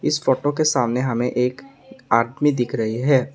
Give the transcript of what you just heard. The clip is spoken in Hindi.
इस फोटो के सामने हमे एक आदमी दिख रही है।